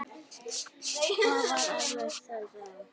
Það var erfitt, segir sagan.